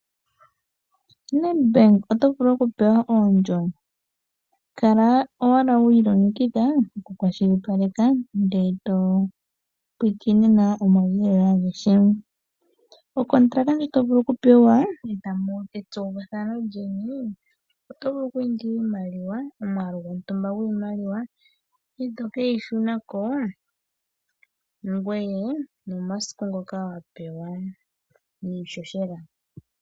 KoNedbank oto vulu okupewa oondjo. Kala owala wi ilongekidha okukwashipaleka, ndele to pulakene nawa omauyelele agehe. Okontalaka ndjo to vulu okupewa e tamu adha etsokumwe lyeni, oto vulu oku indila omwaalu gontumba gwiimaliwa, ngoye to ke yi shuna ko momasiku ngoka wa pewa niihohela.